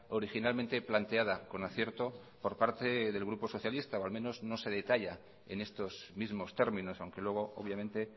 originalmente planteada con acierto por parte del grupo socialista o al menos no se detalla en estos mismos términos aunque luego obviamente